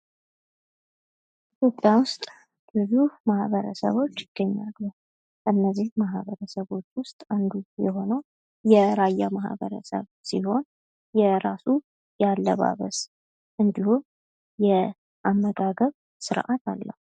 ኢትዮጵያ ውስጥ ብዙ ማህበረሰቦች ይገኛሉ። ከነዚህ ማህበረሰቦች ውስጥ አንዱ የሆነው የራያ ማህበረሰብ ሲሆን የራሱ ያለባበስ እንዲሁም የአመጋገብ ስርአት አለው።